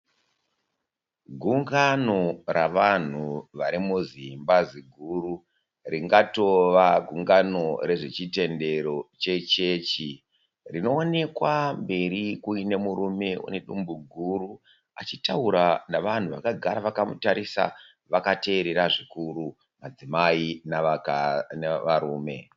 Gungano ravanhu varimuzimba ziguru. Ringatova gungano rezvechitendero che chechi. Rinoonekwa mberi kuine murume unedumbu guru. Achitaura navanhu vakagara vakamutarisa vakateerera zvikuru, madzimai navarume.